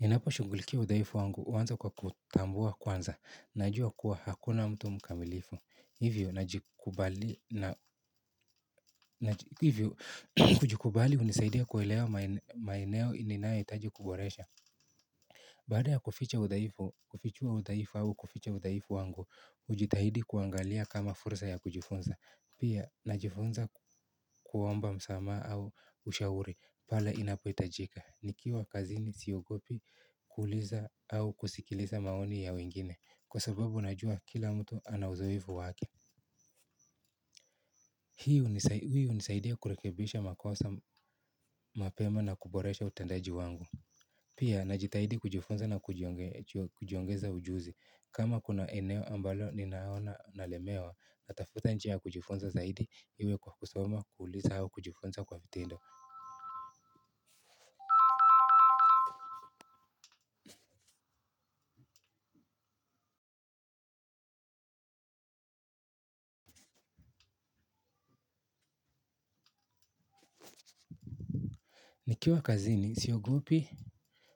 Ninapo shunghulikia udhaifu wangu, huanza kwa kuutambua kwanza, najua kuwa hakuna mtu mkamilifu. Hivyo, kujikubali hunisaidia kuelewa maeneo ninayo hitaji kuboresha. Baada ya kuficha udaifu, kufichua udaifu au kuficha udaifu wangu, hujitahidi kuangalia kama fursa ya kujifunza. Pia, najifunza kuomba msamaha au ushauri, pala inapo hitajika. Nikiwa kazini siogopi kuuliza au kusikiliza maoni ya wengine. Kwa sababu najua kila mtu ana uzoefu wake hii hunisaidia kurekebisha makosa mapema na kuboresha utendaji wangu. Pia najitahidi kujifunza na kujiongeza ujuzi. Kama kuna eneo ambalo ninaona nalemewa natafuta njia kujifunza zaidi iwe kwa kusoma kuuliza au kujifunza kwa vitendo. Nikiwa kazini siogopi